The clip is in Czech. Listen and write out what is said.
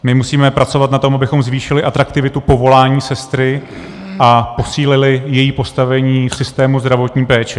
My musíme pracovat na tom, abychom zvýšili atraktivitu povolání sestry a posílili její postavení v systému zdravotní péče.